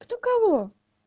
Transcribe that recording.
кто кого